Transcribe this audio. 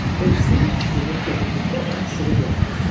O istəmirdi ki, Heklə birlikdə onu küçədə görən olsun.